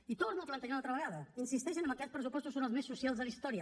i ho torna a plantejar una altra vegada insisteix que aquests pressupostos són els més socials de la història